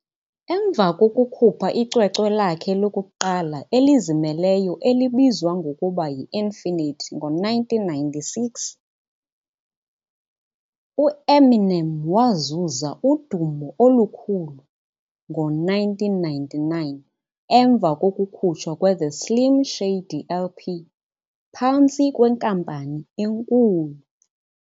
Emva releasing yakhe elizimeleyo debut album Okungenasiphelo ngo-1996, Eminem kwenzeka immense popularity kwi-1999 kunye ukukhutshwa Slim Shady LP kwi enkulu umbhalo.